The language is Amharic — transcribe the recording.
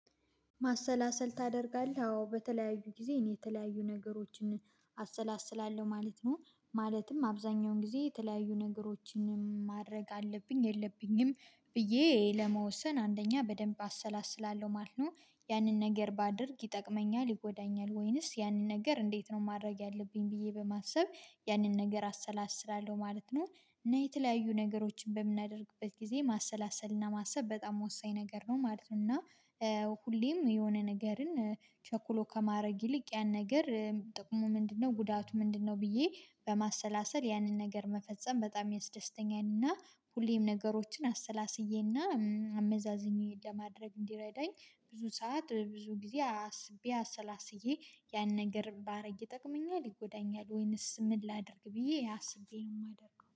ማሰላሰል ታደርጋለህ? አዎ በተለያዩ ጊዜ እኔ የተለያዩ ነገሮችን አሰላስላለሁ ማለት ነው። ማለትም አብዛኛውን ጊዜ የተለያዩ ነገሮችንም ማድረግ አለብኝ፣ የለብኝም ብዬ ለመወሰን አንደኛ በደንብ አሰላስላለሁ ማለት ነው። ያንን ነገር ባደርግ ይጠቅመኛል፣ ይጎዳኛል ወይንስ ያንን ነገር እንዴት ነው ማድረግ ያለብኝ ብዬ በማሰብ ያንን ነገር አሰላስላለሁ ማለት ነው። እና የተለያዩ ነገሮችን በምናደርግበት ጊዜ ማሰላሰልና ማሰብ በጣም ወሳኝ ነገር ነው ማለት ነው። እና ሁሌም የሆነ ነገርን ቸኩሎ ከማድረግ ይልቅ ያን ነገር የጥቅሙ ምንድነው፣ ጉዳቱ ምንድነው ብዬ በማሰላሰል ያንን ነገር መፈጸም በጣም የሚያስደስተኛን እና ሁሌም ነገሮችን አሰላስዬና አመዛዝኜ ለማድረግ እንዲረዳኝ ብዙ ሰዓት ብዙ ጊዜ አስቤ አሰላስዬ ያን ነገር ባደርግ ይጠቅመኛል፣ ይጎዳኛል ወይንስ ምን ላድርግ ብዬ አስቤ ነው የማደርገው።